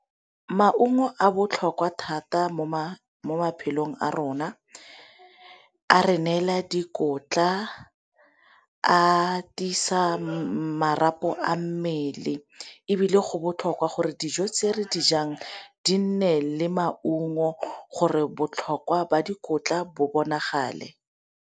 Maungo a botlhokwa thata mo maphelong a rona a re neela dikotla, a tiisa marapo a mmele, ebile go botlhokwa gore dijo se re dijang di nne le maungo gore botlhokwa ba dikotla bo bonagale.